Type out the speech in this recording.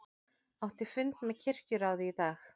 Átti fund með kirkjuráði í dag